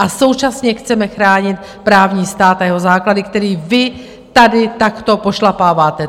A současně chceme chránit právní stát a jeho základy, který vy tady takto pošlapáváte.